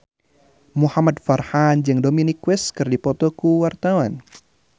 Muhamad Farhan jeung Dominic West keur dipoto ku wartawan